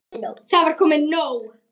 Það var komið nóg.